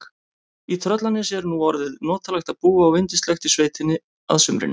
Í Tröllanesi er nú orðið notalegt að búa og yndislegt í sveitinni að sumrinu.